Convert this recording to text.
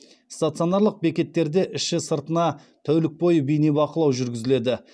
стационарлық бекеттерде іші сыртына тәулік бойы бейнебақылау жүргізіледі